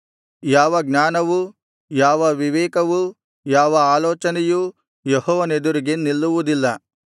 ಯಾವ ಜ್ಞಾನವೂ ಯಾವ ವಿವೇಕವೂ ಯಾವ ಆಲೋಚನೆಯೂ ಯೆಹೋವನೆದುರಿಗೆ ನಿಲ್ಲುವುದಿಲ್ಲ